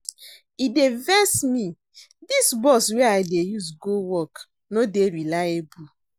E dey vex me, dis bus wey I dey use go work no dey reliable.